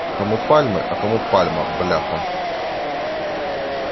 кому пальмы а кому пальма бляха